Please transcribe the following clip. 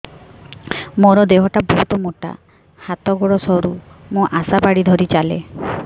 ମୋର ଦେହ ଟା ବହୁତ ମୋଟା ହାତ ଗୋଡ଼ ସରୁ ମୁ ଆଶା ବାଡ଼ି ଧରି ଚାଲେ